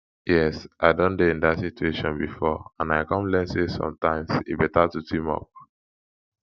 yes i don dey in dat situation before and i come learn say sometimes e beta to team up